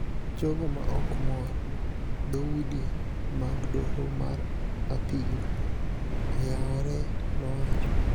jogo ma ok mor, dhoudi mag Doho mar Apil oyaoere," nowacho.